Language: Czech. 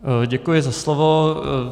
Děkuji za slovo.